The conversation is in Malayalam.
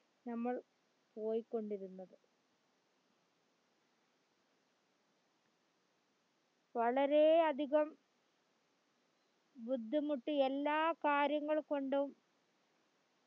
ഞമ്മൾ പോയി കൊണ്ടിരുന്നത് വളരെയധികം ബുദ്ധിമുട്ട് എല്ലാ കാര്യങ്ങൾകൊണ്ടും